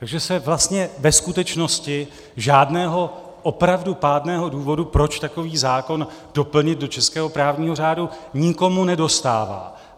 Takže se vlastně ve skutečnosti žádného opravdu pádného důvodu, proč takový zákon doplnit do českého právního řádu, nikomu nedostává.